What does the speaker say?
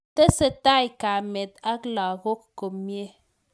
Tesetai kamet ak lagok komie